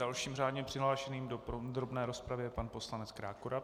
Dalším řádně přihlášeným do podrobné rozpravy je pan poslanec Krákora.